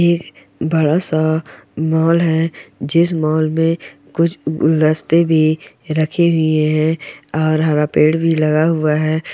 एक बड़ा सा मॉल है जिस मॉल में कुछ गुलदस्ते भी रखे हुए है और हरा पेड़ भी लगा हुआ है।